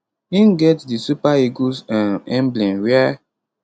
im get di super eagles um emblem wia